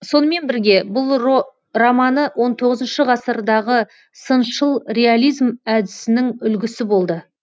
сонымен бірге бұл романы он тоғызыншы ғасырдағы сыншыл реализм әдісінің үлгісі болды